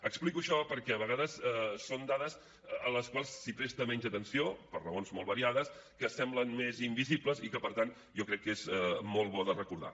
explico això perquè a vegades són dades a les quals es presta menys atenció per raons molt variades que semblen més invisibles i que per tant jo crec que és molt bo de recordar